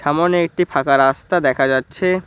সামনে একটি ফাঁকা রাস্তা দেখা যাচ্ছে।